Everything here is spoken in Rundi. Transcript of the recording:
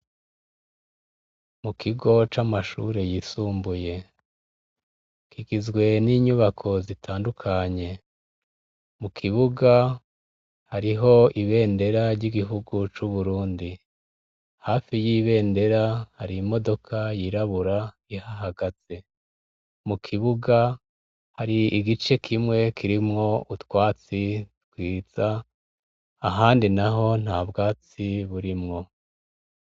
Mu kigo c'amashure yisumbuye kigizwe n'inyubako zitandukanye mu kibuga hariho ibendera ry'igihugu c'uburundi hafi y'ibendera hari imodoka yirabura ihahagazemu ukibuga hari igice kimwe kirimwo utwatsi twiza ahandi na ho nta bwatsi burimwo.